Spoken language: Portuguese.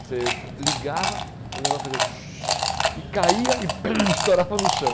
Você ligava, o negócio fazia... E caía e estourava no chão.